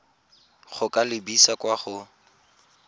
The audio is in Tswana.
go ka lebisa kwa go